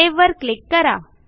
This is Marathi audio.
सेव्ह वर क्लिक करा